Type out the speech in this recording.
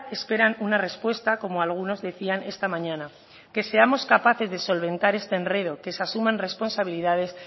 esperan una respuesta como algunos decían esta mañana que seamos capaces de solventar este enredo que se asuman responsabilidades